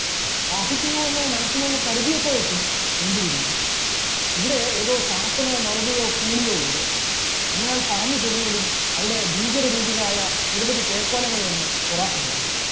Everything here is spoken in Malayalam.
ദാഹിക്കുന്നു എന്ന് മനസ്സിൽ കരുതിയപ്പോയേക്കും മുന്തിരി വീഞ്ഞ്, ഇവിടെ ഏതോ ചാത്തനോ മരുതയോ കൂളിയോ ഉണ്ട്, എന്ന് അയാൾ പറഞ്ഞു തീർന്നതും അവിടെ ഭീകരരൂപികളായ നിരവധി പേക്കോലങ്ങൾ വന്ന് പൊറാട്ട് തുടങ്ങുന്നു.